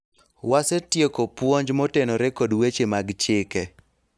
wasetieko puonj motenore kod weche mag chike